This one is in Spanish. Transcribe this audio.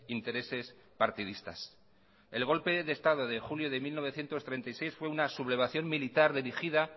intereses partidistas el golpe de estado de julio de mil novecientos treinta y seis fue una sublevación militar dirigida